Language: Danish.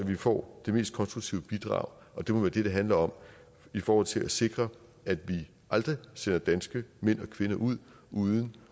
vi får det mest konstruktive bidrag og det må være det det handler om i forhold til at sikre at vi aldrig sender danske mænd og kvinder ud uden